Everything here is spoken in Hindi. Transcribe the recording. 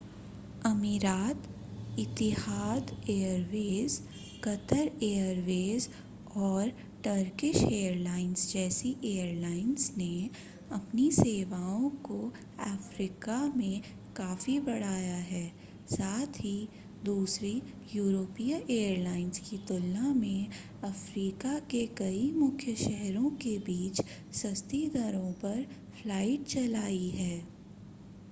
अमीरात इतिहाद एयरवेज कतर एयरवेज और टर्किश एयरलाइंस जैसी एयरलाइंस ने अपनी सेवाओं को अफ़्रीका में काफ़ी बढ़ाया है साथ ही दूसरी यूरोपीय एयरलाइंस की तुलना में अफ़्रीका के कई मुख्य शहरों के बीच सस्ती दरों पर फ्लाइट चलाई हैं